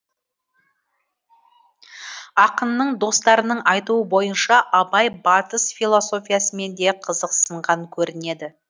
акынның достарының айтуы бойынша абай батыс философиясымен де қызықсынған көрінеді